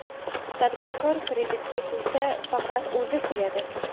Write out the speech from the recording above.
Tadbirkor kreditga kuysa, faqat o‘zi kuyadi.